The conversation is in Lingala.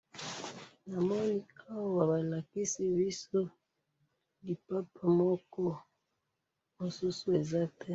Awa balakisi biso lipapa moko mususu eza te,